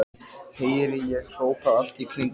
heyri ég hrópað allt í kringum mig.